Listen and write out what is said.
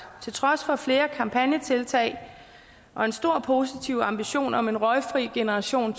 til trods for flere kampagnetiltag og en stor positiv ambition om en røgfri generation